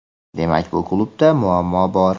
demak bu klubda muammo bor;.